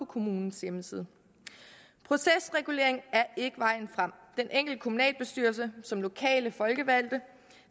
kommunens hjemmeside procesregulering er ikke vejen frem den enkelte kommunalbestyrelse som lokale folkevalgte